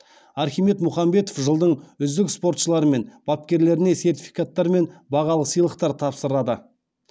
архимед мұхамбетов жылдың үздік спортшылары мен бапкерлеріне сертификаттар мен бағалы сыйлықтар тапсырады